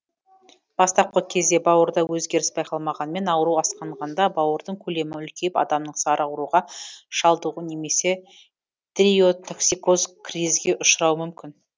бастапқы кезде бауырда өзгеріс байқалмағанмен ауру асқынғанда бауырдың көлемі үлкейіп адамның сары ауруға шалдығуы немесе тиреотоксикоз кризге ұшырауы мүмкін